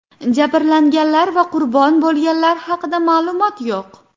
Jabrlanganlar va qurbon bo‘lganlar haqida ma’lumot yo‘q.